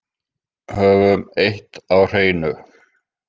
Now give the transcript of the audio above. Höfum eitt á hreinu.